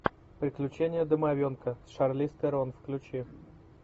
приключения домовенка с шарлиз терон включи